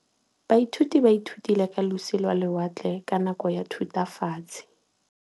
Baithuti ba ithutile ka losi lwa lewatle ka nako ya Thutafatshe.